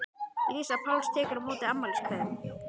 Lísa Páls tekur á móti afmæliskveðjum.